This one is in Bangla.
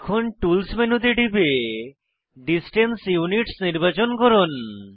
এখন টুলস মেনুতে টিপে ডিসট্যান্স ইউনিটস নির্বাচন করুন